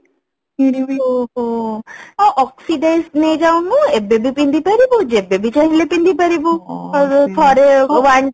ଓଃହୋ ଆଉ Oxide ନେଇ ଯାଉନୁ ଏବେ ବି ପିନ୍ଧି ପାରିବୁ ଯେବେ ବି ଚାହ୍ନିଲେ ପିନ୍ଧି ପାରିବୁ ଥରେ